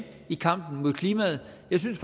i kampen for klimaet jeg synes